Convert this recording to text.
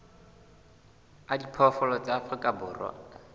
a diphoofolo tsa afrika borwa